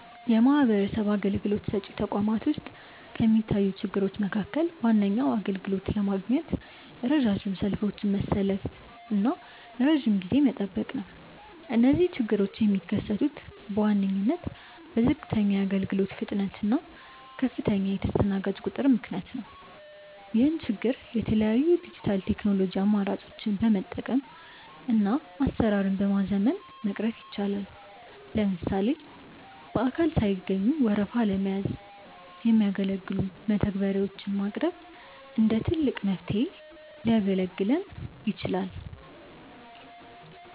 የማህበረሰብ አገልግሎት ሰጪ ተቋማት ውስጥ ከሚታዩ ችግሮች መካከል ዋነኛው አገልግሎት ለማግኘት ረጃጅም ሰልፎችን መሰለፍና ረጅም ጊዜ መጠበቅ ነው። እነዚህ ችግሮች የሚከሰቱት በዋነኝነት በዝቅተኛ የአገልግሎት ፍጥነት እና ከፍተኛ የተስተናጋጅ ቁጥር ምክንያት ነው። ይህን ችግር የተለያዩ የዲጂታል ቴክኖሎጂ አማራጮችን በመጠቀምና አሰራርን በማዘመን መቅረፍ ይቻላል። ለምሳሌ በአካል ሳይገኙ ወረፋ ለመያዝ የሚያገለግሉ መተግበሪያዎች ማቅረብ እንደ ትልቅ መፍትሄ ሊያገለግል ይችላል።